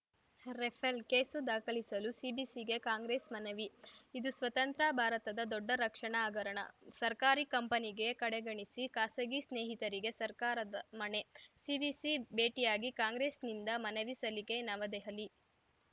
Rafale case ದಾಖಲಿಸಲು ಸಿವಿಸಿಗೆ Congress ಮನವಿ ಇದು ಸ್ವತಂತ್ರ ಭಾರತದ ದೊಡ್ಡ ರಕ್ಷಣಾ ಹಗರಣ ಸರ್ಕಾರಿ ಕಂಪನಿ ಕಡೆಗಣಿಸಿ ಖಾಸಗಿ ಸ್ನೇಹಿತರಿಗೆ ಸರ್ಕಾರದ ಮಣೆ ಸಿವಿಸಿ ಭೇಟಿಯಾಗಿ ಕಾಂಗ್ರೆಸ್‌ನಿಂದ ಮನವಿ ಸಲ್ಲಿಕೆ ನವದೆಹಲಿ